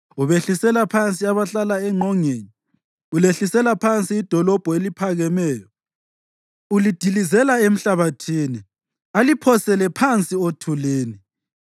Ubehlisela phansi abahlala engqongeni; ulehlisela phansi idolobho eliphakemeyo, ulidilizela emhlabathini, aliphosele phansi othulini.